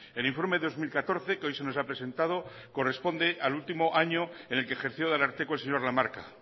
el informe de dos mil catorce que hoy se nos ha presentado corresponde al último año en el que ejerció de ararteko el señor lamarca